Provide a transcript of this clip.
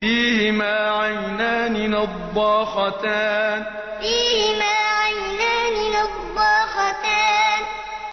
فِيهِمَا عَيْنَانِ نَضَّاخَتَانِ فِيهِمَا عَيْنَانِ نَضَّاخَتَانِ